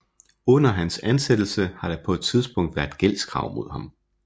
Under hans ansættelse har der på et tidspunkt været gældskrav mod ham